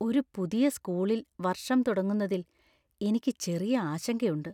ഒരു പുതിയ സ്‌കൂളിൽ വർഷം തുടങ്ങുന്നതിൽ എനിക്ക് ചെറിയ ആശങ്കയുണ്ട്.